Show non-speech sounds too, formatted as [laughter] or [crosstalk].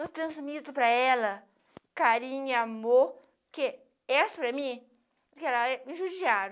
Eu transmito para ela carinho, amor, que essa para mim, [unintelligible] me judiaram